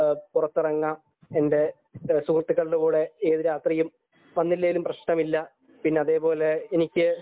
പുറത്തിറങ്ങാൻ എന്റെ സുഹൃത്തുക്കളുടെ കൂടെ ഏത് രാത്രിയിലും വന്നില്ലെങ്കിലും പ്രശ്നമില്ല